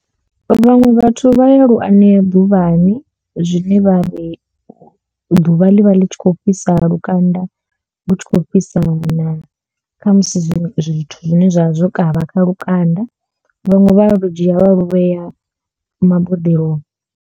Vhaṅwe vhathu vha ya lu anea ḓuvhani zwine vha ri ḓuvha ḽi vha ḽi kho fhisa lukanda lu tshi khou fhisa na khamusi zwiṅwe zwithu zwine zwa vha zwo kavha kha lukanda vhaṅwe vha lu dzhia vha luvhea maboḓeloni.